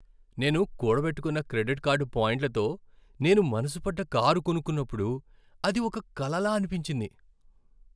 నేను కూడబెట్టుకున్న credit card పాయింట్లతో నేను మనసుపడ్డ కారు కొనుక్కున్నప్పుడు, అది ఒక కలలా అనిపించింది.